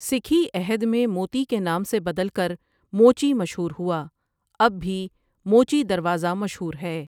سکھی عہد میں موتی کے نام سے بدل کر موچی مشہور ہوا اب بھی موچی دروازہ مشہور ہے ۔